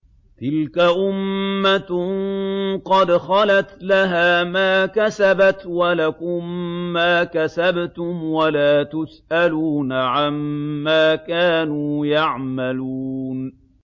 تِلْكَ أُمَّةٌ قَدْ خَلَتْ ۖ لَهَا مَا كَسَبَتْ وَلَكُم مَّا كَسَبْتُمْ ۖ وَلَا تُسْأَلُونَ عَمَّا كَانُوا يَعْمَلُونَ